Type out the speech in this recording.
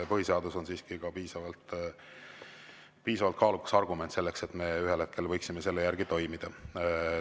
Põhiseadus on siiski piisavalt kaalukas argument selleks, et me ühel hetkel võiksime toimida.